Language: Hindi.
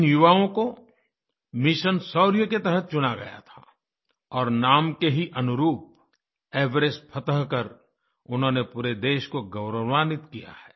इन युवाओं को मिशन शौर्य के तहत चुना गया थाऔर नाम के ही अनुरूप एवरेस्ट फतह कर उन्होंने पूरे देश को गौरवान्वित किया है